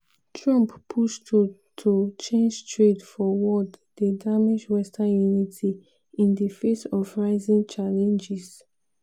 trump push to to change trade for world dey damage western unity in the face of rising challenges.